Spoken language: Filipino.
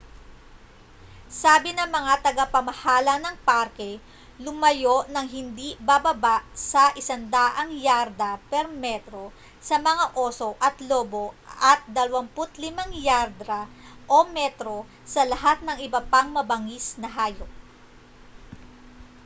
sabi ng mga tagapamahala ng parke lumayo nang hindi bababa sa 100 yarda/metro sa mga oso at lobo at 25 yarda/metro sa lahat ng iba pang mabangis na hayop!